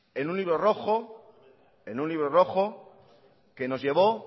que nos llevó